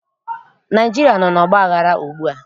Naịjirịa nọ n'ọgbaghara ugbua